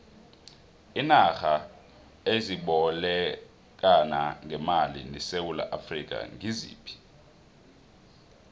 iinarha ezibolekana ngemali nesewula afrika ngiziphi